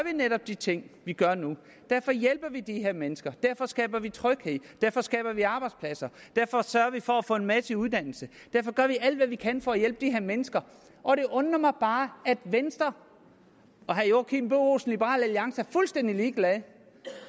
netop de ting vi gør nu derfor hjælper vi de her mennesker derfor skaber vi tryghed derfor skaber vi arbejdspladser derfor sørger vi for at få en masse i uddannelse derfor gør vi alt hvad vi kan for at hjælpe de her mennesker og det undrer mig bare at venstre og herre joachim b olsen fra liberal alliance er fuldstændig ligeglade